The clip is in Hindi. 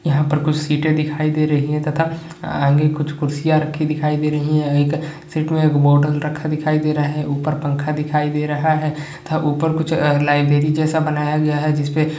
यहां पर कुछ सीटे दिखाई दे रही है तथा आगे कुछ कुर्सिया रखी दिखाई दे रही है एक सीट मे बॉटल रखा दिखाई दे रहा है ऊपर पंखा दिखाई दे रहा है ऊपर कुछ लाइब्रेरी जैसा बनाया गया है जिसपे--